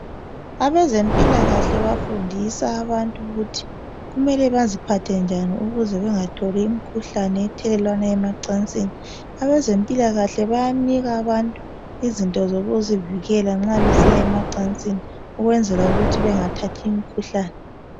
Abezempilakahle bafundisa abantu ukuthi kumele baziphathe njani ukuze bengatholi imkhuhlane ethelelwana emacansini .Abezempilakahle bayanika abantu izinto zokuzivikela nxa besiya emacansini ukwenzela ukuthi bengathathi imkhuhlane .